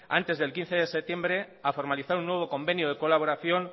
antes del quince de septiembre a formalizar un nuevo convenio de colaboración